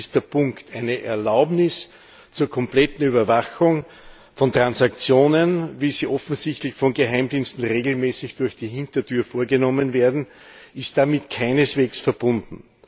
Das ist der Punkt. Eine Erlaubnis zur kompletten Überwachung von Transaktionen, wie sie offensichtlich von Geheimdiensten regelmäßig durch die Hintertür vorgenommen werden, ist damit keineswegs verbunden.